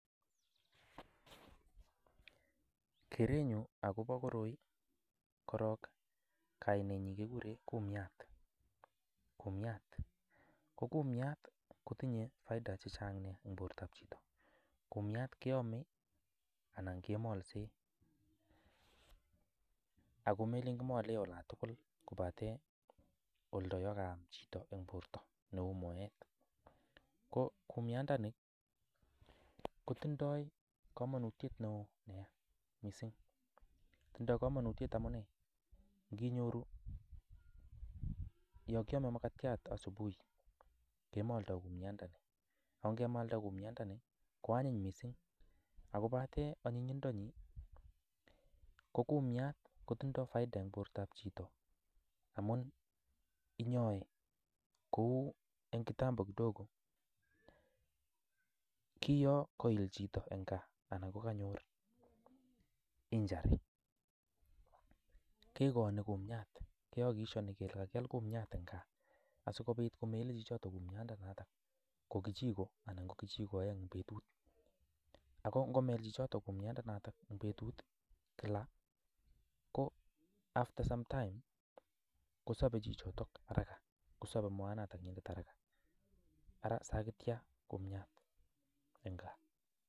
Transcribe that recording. Kerenyu akobo koroi korok kainenyi kekure kumiat, kumiat ko kumiat kotinye faida che chang nea eng bortab chito, kumiat keame anan kemalse, ako melen kimole ola tugul kobate oldo ya kaam chito eng borta ne uu moet, ko kumiandani kotindoi komonutiet neo nea mising, tindoi kamanutiet amune, kinyoru yo kiame makatiat asubuhi kemoldo kumiandani, ako ngemalda kumianmdani ko anyiny mising, akobate anyinyindonyi ko kumiat kotindoi faida eng bortab chito amun inyoe kou eng kitambo kidogo ki yo kail chito eng gaa anan ko kanyor injury, kekooni kumiat, kehakikishoni kele kakial kumiat eng gaa, asikobit komele chichoto kumiandanata ko kijiko anan ko kijiko aeng eng betut, ako ngomel chichoto kumiandanata eng betut kila ko after sometime kosope chichoto haraka, kosope moanatanyinet haraka, ara sakitya kumiat eng gaa.